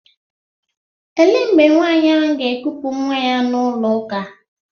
Ele mgbe nwaanyị ahụ ga-ekupu nwa ya n'ụlọ ụka?